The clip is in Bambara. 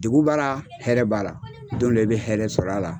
Degun b'a ra hɛrɛ b'a ra don d'e bɛ hɛrɛ sɔr'a la.